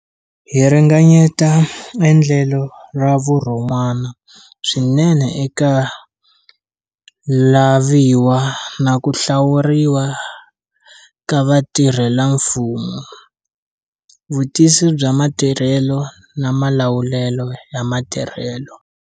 Hi ringanyeta endlelo ra vurhon'wana swinene eka laviwa na ku hlawuriwa ka vatirhelamfumo, vutivisi bya matirhelo na malawulelo ya matirhelo.